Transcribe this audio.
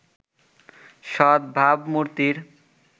সৎ ভাবমূর্তির